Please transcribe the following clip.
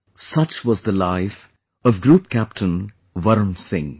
Such was the life of Group Captain Varun Singh